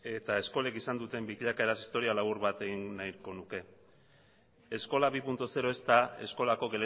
eta eskolek izan duten bilakaeran historia labur bat egin nahiko nuke eskola bi puntu zero ez da eskolako